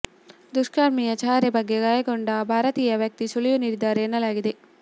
ದುಷ್ಕರ್ಮಿಯ ಚಹರೆ ಬಗ್ಗೆ ಗಾಯಗೊಂಡ ಭಾರತೀಯ ವ್ಯಕ್ತಿ ಸುಳಿವು ನೀಡಿದ್ದಾರೆ ಎನ್ನಲಾಗಿದೆ